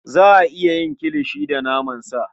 Za a iya yin kilishi da naman sa.